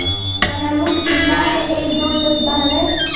महमूद गिनता है एकदो दसबारह